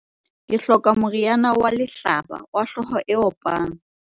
ke hloka moriana wa lehlaba wa hlooho e opang